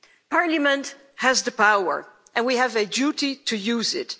Parliament has the power and we have a duty to use it.